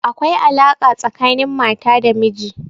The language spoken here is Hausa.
Akwai alaƙa tsakanin mata da miji.